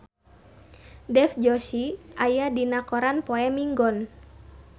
Dev Joshi aya dina koran poe Minggon